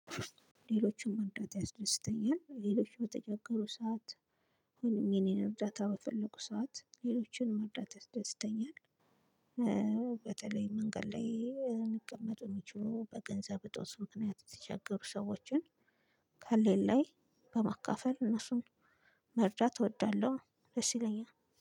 ሌሎችን መርዳት ያስደስተኛል ሌሎች በተቸገሩ ሰዓት ሁለም የኔን እርዳታ በፈለጉ ሰዓት ሌሎችን መርዳት ያስደስተኛል። በተለይ መንገድ ላይ የሚቀመጡ የሚችሉ በገንዘብ እጦት ምክንያት የተቸገሩ ሰዎችን ካለኝ ላይ በማካፈል እነሱን መርዳት እወዳለሁ። ደስ ይለኛል